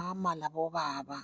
Omama labobaba